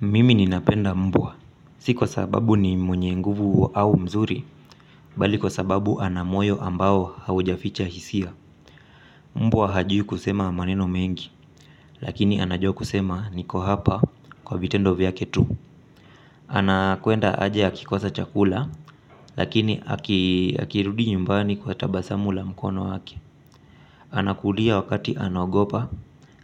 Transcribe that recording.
Mimi ninapenda mbwa. Si kwa sababu ni mwenye nguvu au mzuri, bali kwa sababu ana moyo ambao haujaficha hisia. Mbwa hajui kusema maneno mengi, lakini anajua kusema niko hapa kwa vitendo vyake tu. Anakwenda haja akikosa chakula, lakini akirudi nyumbani kwa tabasamu la mkono wake. Anakulia wakati anaogopa,